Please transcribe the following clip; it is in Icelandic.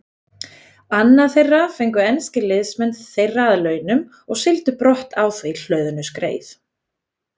Annað þeirra fengu enskir liðsmenn þeirra að launum og sigldu brott á því hlöðnu skreið.